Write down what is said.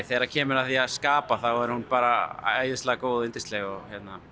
þegar kemur að því skapa þá er hún bara æðislega góð og yndisleg og